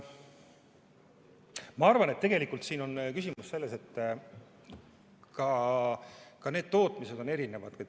Ma arvan, et küsimus on selles, et ka tootmine on erinev.